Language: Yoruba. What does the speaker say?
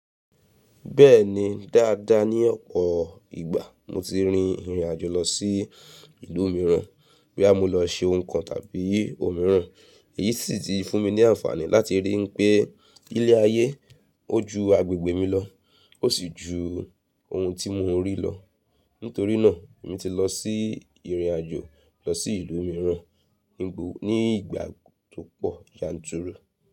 Bẹ́ẹ̀ni, dáadáa ní ọ̀pọ̀ ìgbà mo ti rin ìrìn àjò lọ sí ìlú mìíràn, boya mo lọ se nǹkan tàbí ohun mìíràn. Èyí sì ti fún mi ní àǹfààní láti rí n pé ilé ayé ó ju agbègbè mi lọ, ó sì ju ohun tí mo ń rí lọ. Nítorí náà, èmi ti lọ sí ìrìnàjò lọ sí ìlú mìíràn ní ìgbà tó pọ̀ yanturu.